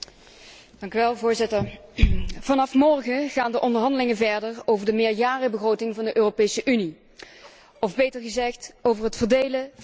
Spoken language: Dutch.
Vanaf morgen gaan de onderhandelingen verder over de meerjarenbegroting van de Europese Unie, of beter gezegd, over het verdelen van de belastingcenten van de Europese burger.